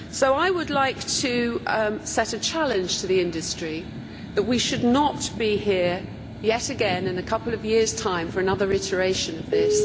I would like to set a challenge to the industry that we should not be here yet again in a couple of years' time for another reiteration of this.